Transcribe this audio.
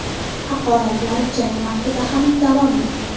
Haqoratlar jang vaqtida ham davom etgan.